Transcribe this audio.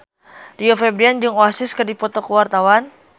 Rio Febrian jeung Oasis keur dipoto ku wartawan